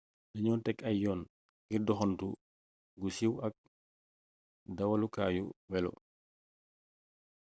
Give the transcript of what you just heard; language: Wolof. dañoo teg ay yoon ngir doxantu gu siiw ak dawalukaayu welo